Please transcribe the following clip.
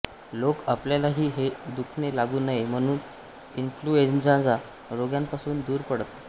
लोक आपल्यालाही हे दुखणे लागू नये म्हणून इन्फ्लुएंझाच्या रोग्यापासून दूर पळत